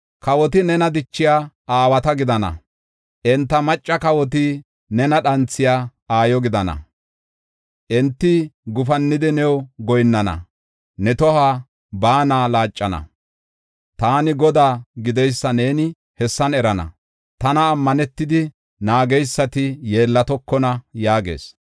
Kawoti nena dichiya aawata gidana; enta macca kawoti nena dhanthiya aayo gidana. Enti gufannidi new goyinnana; ne toho baana laaccana. Taani Godaa gideysa neeni hessan erana; tanan ammanetidi naageysati yeellatokona” yaagees.